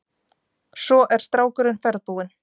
Svo er strákurinn ferðbúinn.